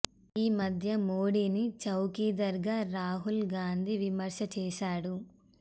ఆ మధ్య మోడీని చౌకీదార్ గా రాహుల్ గాంధీ విమర్శ చేసాడు